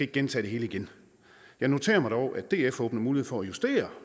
gentage det hele igen jeg noterer mig dog at df åbner mulighed for at justere